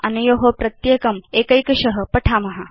अनयो प्रत्येकं वयं एकैकश पठिष्याम